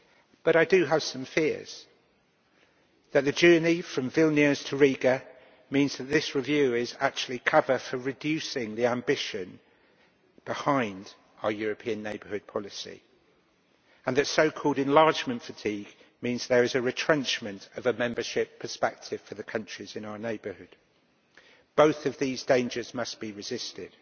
But I do have some fears that the journey from Vilnius to Riga means that this review is actually cover for reducing the ambition behind our European Neighbourhood Policy, and that so called enlargement fatigue means there is a retrenchment of membership prospects for the countries in our neighbourhood. Both of these dangers must be resisted.